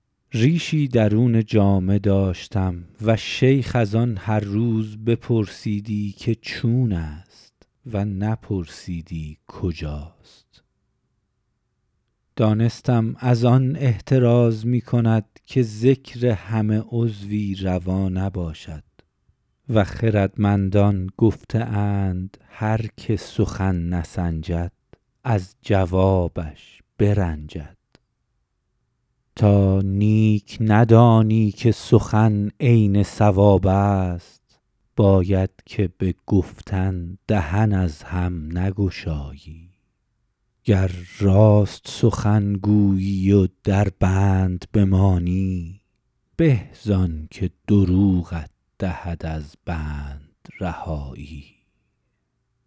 ریشی درون جامه داشتم و شیخ از آن هر روز بپرسیدی که چون است و نپرسیدی کجاست دانستم از آن احتراز می کند که ذکر همه عضوی روا نباشد و خردمندان گفته اند هر که سخن نسنجد از جوابش برنجد تا نیک ندانی که سخن عین صواب است باید که به گفتن دهن از هم نگشایی گر راست سخن گویی و در بند بمانی به زآن که دروغت دهد از بند رهایی